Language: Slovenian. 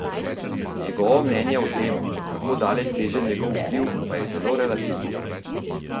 Njegovo mnenje o tem, kako daleč seže njegov vpliv, pa je zelo relativno.